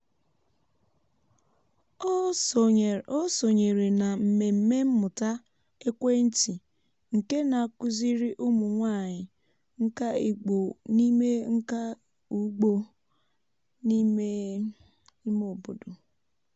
ọ sonyere na mmemme mmụta ekwentị nke na-akụziri ụmụ nwanyị nka ugbo n’ime nka ugbo n’ime ime obodo